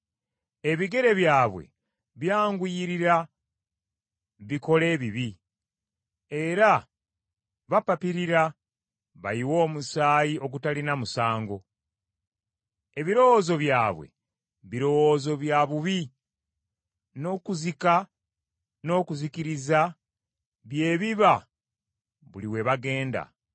Ebigere byabwe byanguyirira bikole ebibi era bapapirira bayiwe omusaayi ogutalina musango. Ebirowoozo byabwe birowoozo bya bubi, n’okuzika n’okuzikiriza bye biba buli we bagenda.